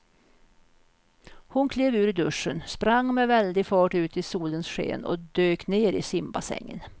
Hon klev ur duschen, sprang med väldig fart ut i solens sken och dök ner i simbassängen.